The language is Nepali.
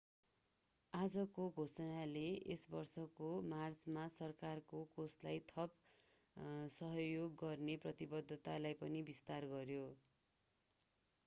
आजको घोषणाले यस वर्षको मार्चमा सरकारको कोषलाई थप सहयोग गर्ने प्रतिबद्धतालाई पनि विस्तार गर्‍यो।